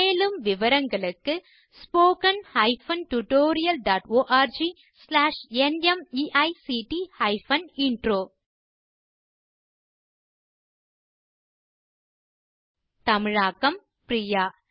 மேலும் விவரங்களுக்கு spoken hyphen tutorial dot org slash நிமைக்ட் ஹைபன் இன்ட்ரோ தமிழாக்கம் பிரியா